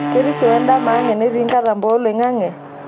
Kerisio wendama ang' entii nkatampo oloing'ang'e?